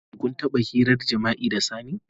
Shin kun taba hirar jima'i da sani?